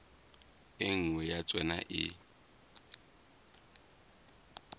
e nngwe ya tsona e